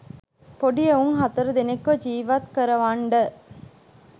පොඩි එවුන් හතර දෙනෙක්ව ජිවත් කරවන්ඩ.